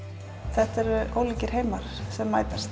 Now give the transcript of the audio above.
þetta eru ólíkir heimar sem mætast